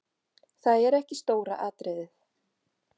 Það er ekki stóra atriðið.